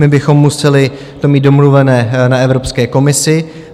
My bychom to museli mít domluvené na Evropské komisi.